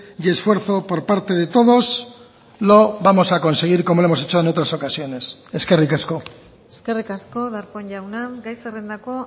y esfuerzo por parte de todos lo vamos a conseguir como lo hemos hecho en otras ocasiones eskerrik asko eskerrik asko darpón jauna gai zerrendako